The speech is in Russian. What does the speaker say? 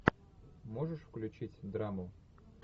можешь включить драму